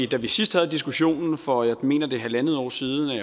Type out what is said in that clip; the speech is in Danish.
da vi sidst havde diskussionen for jeg mener det er halvandet år siden